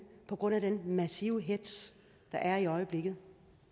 på grund af den massive hetz der er i øjeblikket